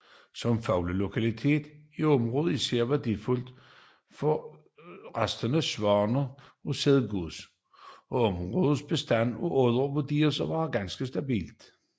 Som fuglelokalitet er området især værdifuldt for rastende Sangsvane og Sædgås og områdets bestand af Odder vurderes at være stabil